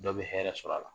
Dɔ bɛ hɛrɛ sɔrɔ a la